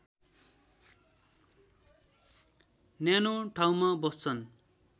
न्यानो ठाउँमा बस्छन्